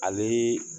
Ale